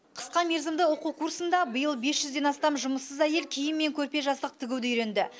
қысқа мерзімді оқу курсында биыл бес жүзден астам жұмыссыз әйел киім мен көрпе жастық тігуді үйренді